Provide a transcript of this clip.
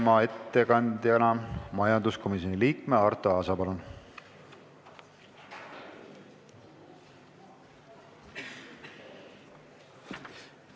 Palun ettekandjana kõnelema majanduskomisjoni liikme Arto Aasa!